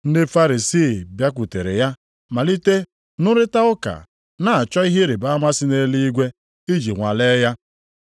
Ndị Farisii bịakwutere ya malite nrụrịta ụka, na-achọ ihe ịrịbama si nʼeluigwe, iji nwalee ya.